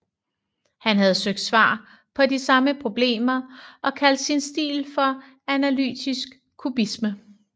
Han havde søgt svar på de samme problemer og kaldte sin stil for analytisk kubisme